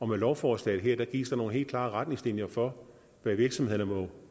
med lovforslaget her gives der nogle helt klare retningslinjer for hvad virksomhederne må